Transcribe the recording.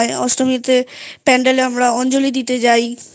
অষ্টমীতে Pandal এ অঞ্জলি দিতে যাই